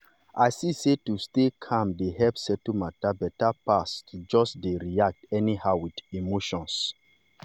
i see sey to stay calm dey help settle matter better pass to just dey react anyhow with emotion.